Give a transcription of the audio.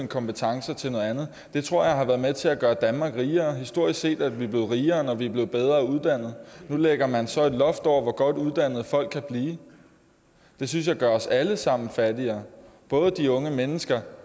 kompetencer til noget andet det tror jeg har været med til at gøre danmark rigere historisk set er vi blevet rigere når vi er blevet bedre uddannede nu lægger man så et loft over hvor godt uddannede folk kan blive det synes jeg gør os alle sammen fattigere både de unge mennesker